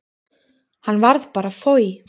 Hann varð bara foj.